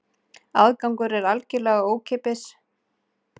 Aðgangur er algjörlega ókeypis